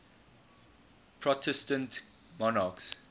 protestant monarchs